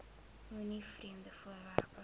moenie vreemde voorwerpe